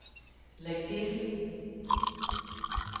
lägg till